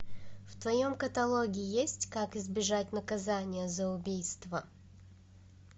в твоем каталоге есть как избежать наказания за убийство